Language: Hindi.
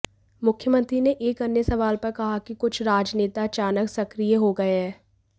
मुख्यमंत्री ने एक अन्य सवाल पर कहा कि कुछ राजनेता अचानक सक्रिय हो गए हैं